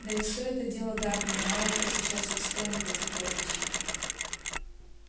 да и всё это дело давнее мало кто сейчас и вспомнит эти прозвища